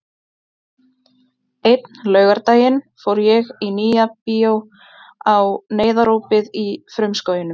Einn laugardaginn fór ég í Nýja bíó á Neyðarópið í frumskóginum.